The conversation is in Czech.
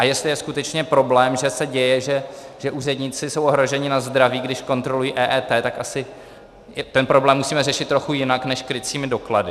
A jestli je skutečně problém, že se děje, že úředníci jsou ohroženi na zdraví, když kontrolují EET, tak asi ten problém musíme řešit trochu jinak než krycími doklady.